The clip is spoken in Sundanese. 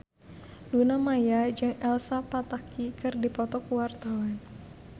Luna Maya jeung Elsa Pataky keur dipoto ku wartawan